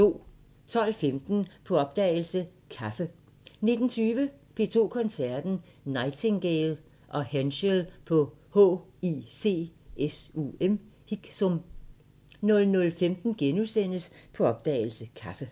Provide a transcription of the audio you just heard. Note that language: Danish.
12:15: På opdagelse – Kaffe 19:20: P2 Koncerten – Nightingale & Henschel på HICSUM 00:15: På opdagelse – Kaffe *